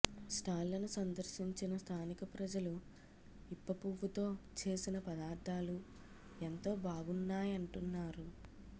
స్టాళ్లను సందర్శించిన స్థానిక ప్రజలు ఇప్పపువ్వుతో చేసిన పదార్ధాలు ఎంతో బాగున్నాయంటున్నారు